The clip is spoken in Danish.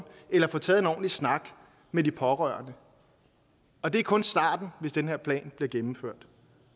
eller få taget en ordentlig snak med de pårørende og det er kun starten hvis den her plan bliver gennemført